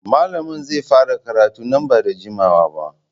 Malamin zai fara karatun nan ba da jimawa ba.